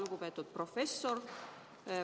Lugupeetud professor!